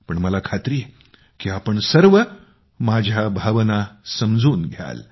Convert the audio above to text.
पण मला खात्री आहे की तुम्ही सर्व माझ्या भावना समजून घ्याल